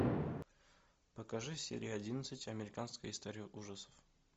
покажи серия одиннадцать американская история ужасов